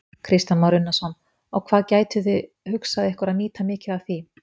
Kristján Már Unnarsson: Og hvað gætuð þið hugsað ykkur að nýta mikið af því?